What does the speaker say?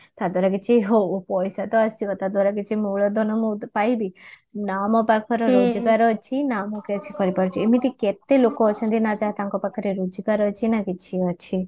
ତା ଦ୍ଵାରା କିଛି ହଉ ପଇସା ତ ଆସିବ ତା ଦ୍ଵାରା କିଛି ମୂଳଧନ ତ ମୁଁ କିଛି ପାଇବି ନା ମୋ ପାଖରେ ଯୋଗ୍ୟତାର ଅଛି ନା ମୁଁ କିଛି କରି ପାରୁଛି ଏମିତି କେତେ ଲୋକ ଅଛନ୍ତି ନା ଏଯାଏ ତାଙ୍କ ପାଖରେ ରୋଜକାର ଅଛି ନା କିଛି ଅଛି